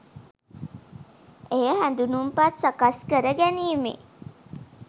එය හැඳුනුම්පත් සකස්කර ගැනීමේ